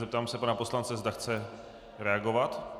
Zeptám se pana poslance, zda chce reagovat.